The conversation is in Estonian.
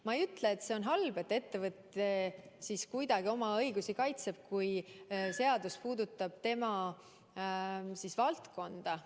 Ma ei ütle, et see on halb, et ettevõte kuidagi oma õigusi kaitseb, kui seadus puudutab tema valdkonda.